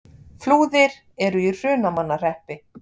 Flúðir er í Hrunamannahreppi.